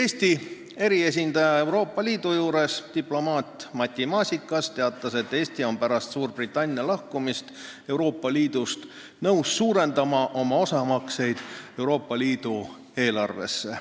Eesti eriesindaja Euroopa Liidu juures diplomaat Matti Maasikas aga teatas, et Eesti on pärast Suurbritannia lahkumist Euroopa Liidust nõus suurendama oma osamakseid Euroopa Liidu eelarvesse.